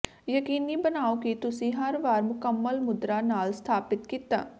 ਯਕੀਨੀ ਬਣਾਓ ਕਿ ਤੁਸੀਂ ਹਰ ਵਾਰ ਮੁਕੰਮਲ ਮੁਦਰਾ ਨਾਲ ਸਥਾਪਤ ਕੀਤਾ